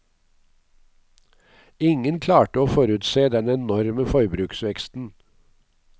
Ingen klarte å forutse den enorme forbruksveksten.